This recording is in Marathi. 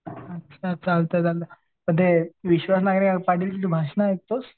अच्छा चालतंय चालतंय. पण ते विश्वास नांगरे पाटीलची भाषणं ऐकतोस?